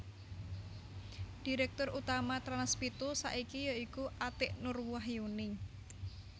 Direktur Utama Trans pitu saiki ya iku Atiek Nur Wahyuni